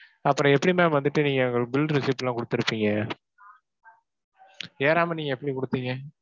அப்புறம் எப்படி ma'am வந்துட்டு நீங்க எங்களுக்கு bill receipt எல்லாம் கொடுத்திருப்பீங்க? ஏறாம நீங்க எப்படி கொடுப்பீங்க?